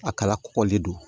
A kala kɔgɔli don